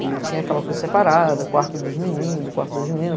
E tinha aquela coisa separada, o quarto dos meninos, o quarto das meninas.